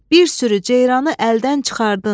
Bir sürü ceyranı əldən çıxardın.